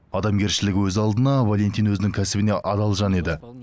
адамгершілігі өз алдына валентин өзінің кәсібіне адал жан еді